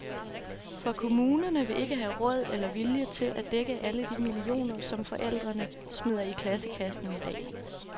For kommunerne vil ikke have råd eller vilje til at dække alle de millioner, som forældrene smider i klassekassen i dag.